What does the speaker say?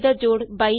ਜੋੜ 20 ਤੋਂ ਜਿਆਦਾ ਹੈ